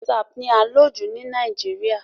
WhatsApp ni à ń lò jù ní Nàìjíríà.